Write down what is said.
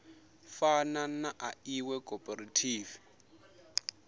fana na ḽa iṅwe khophorethivi